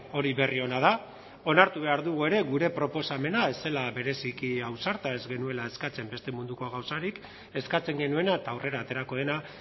hori berri ona da onartu behar dugu ere gure proposamena ez zela bereziki ausarta ez genuela eskatzen beste munduko gauzarik eskatzen genuena eta aurrera aterako dena